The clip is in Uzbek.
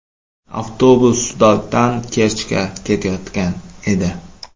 Avtobus Sudakdan Kerchga ketayotgan edi.